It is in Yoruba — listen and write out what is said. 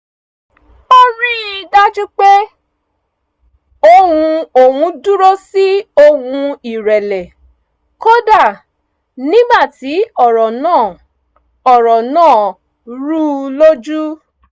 o rí i dájú pé ohùn òun dúró sí ohùn ìrẹ̀lẹ̀ kódà nígbà tí ọ̀rọ̀ náà ọ̀rọ̀ náà rú u lójú